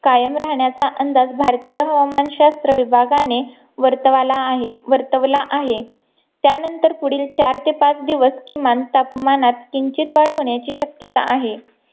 कायम राहण्याचा अंदाज भारतीय हवामान शास्त्र विभागाणे वार्तावाला आहे वर्तवला आहे त्यानंतर पुढील चार ते पाच दिवस किमान तापमानात किंचित वाढ होण्याची शक्यता आहे